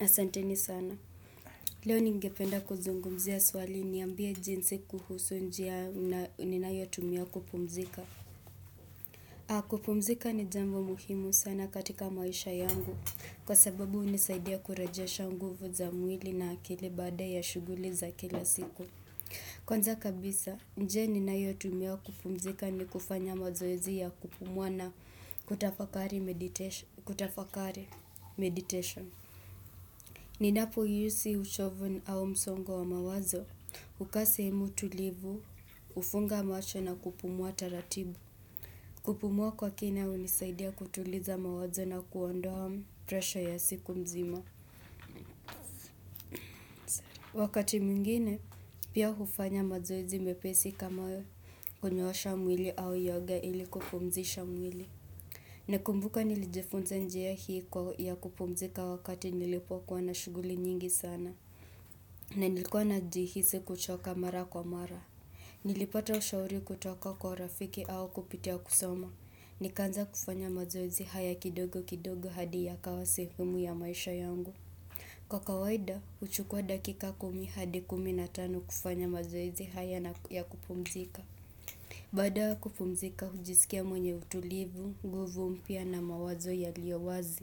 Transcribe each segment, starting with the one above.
Asanteni sana. Leo ningependa kuzungumzia swali niambie jinsi kuhusu njia ninayotumia kupumzika. Kupumzika ni jambo muhimu sana katika maisha yangu. Kwa sababu hunisaidia kurejesha nguvu za mwili na akili baada ya shuguli za kila siku. Kwanza kabisa, njia ninayotumia kupumzika ni kufanya mazoezia kupumua na kutafakari meditation. Ni napo yusi uchovu au msongo wa mawazo hukaa sehemu tulivu, hufunga macho na kupumua taratibu. Kupumua kwa kina hunisaidia kutuliza mawazo na kuondoa presha ya siku mzima. Wakati mingine pia hufanya mazoezi mepesi kama konyoosha mwili au yoga ili kupumzisha mwili. Na kumbuka nilijifunza njia hii kwa ya kupumzika wakati nilipokua na shuguli nyingi sana. Na nilikuwa na jihisi kuchoka mara kwa mara Nilipata ushauri kutoka kwa rafiki au kupitia kusoma nikaanza kufanya mazoezi haya kidogo kidogo hadi yakawa sehemu ya maisha yangu Kwa kawaida, uchukua dakika kumi hadi kumi na tano kufanya mazoezi haya ya kupumzika Bada kupumzika, ujisikia mwenye utulivu, guvu mpya na mawazo yaliyo wazi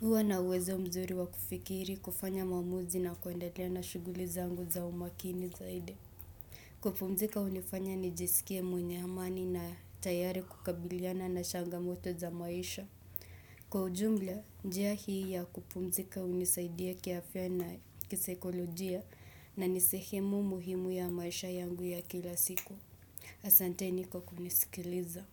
huwa na uwezo mzuri wa kufikiri, kufanya maamuzi na kuendelea na shuguli zangu za umakini zaidi. Kupumzika hunifanya nijisikie mwenye amani na tayari kukabiliana na changamoto za maisha. Kwa ujumla, njia hii ya kupumzika hunisaidia kiafya na kisekolojia na ni sehemu muhimu ya maisha yangu ya kila siku. Asanteni kwa kunisikiliza.